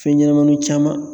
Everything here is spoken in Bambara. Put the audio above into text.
Fɛn ɲɛnɛmaninw caman